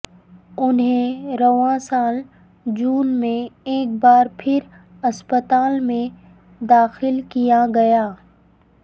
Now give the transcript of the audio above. انھیں رواں سال جون میں ایک بار پھر ہسپتال میں داخل کیا گیا